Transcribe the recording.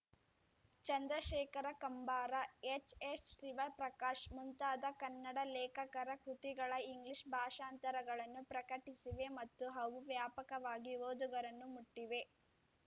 ಚಂದ್ರಶೇಖರ ಕಂಬಾರ ಎಚ್‌ಎಸ್‌ಶಿವಪ್ರಕಾಶ್‌ ಮುಂತಾದ ಕನ್ನಡ ಲೇಖಕರ ಕೃತಿಗಳ ಇಂಗ್ಲಿಷ್‌ ಭಾಷಾಂತರಗಳನ್ನು ಪ್ರಕಟಿಸಿವೆ ಮತ್ತು ಅವು ವ್ಯಾಪಕವಾಗಿ ಓದುಗರನ್ನು ಮುಟ್ಟಿವೆ